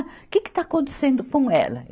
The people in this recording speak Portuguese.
Que que está acontecendo com ela?